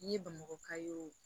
N'i ye bamakɔ ka y'o